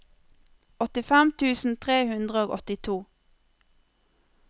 åttifem tusen tre hundre og åttito